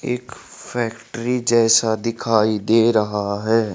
एक फैक्ट्री जैसा दिखाई दे रहा है।